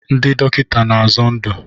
Ndị dọkịta na-azọ ndụ